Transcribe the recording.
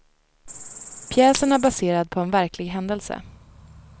Pjäsen är baserad på en verklig händelse.